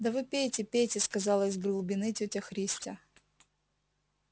да вы пейте пейте сказала из глубины тётя христя